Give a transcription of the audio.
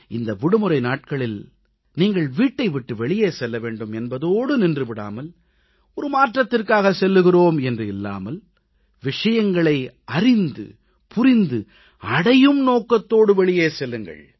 இந்த விடுமுறை நாட்களில் நீங்கள் வீட்டை விட்டு வெளியே செல்ல வேண்டும் என்பதோடு நின்று விடாமல் மாற்றத்திற்காக செல்கிறோம் என்று இல்லாமல் விஷயங்களை அறிந்துபுரிந்துஅடையும் நோக்கத்தோடு வெளியே செல்லுங்கள்